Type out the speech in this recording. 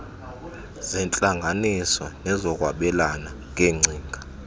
zeentlanganiso nezokwabelana ngeengcinga